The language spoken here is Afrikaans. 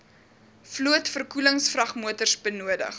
vloot verkoelingsvragmotors nodig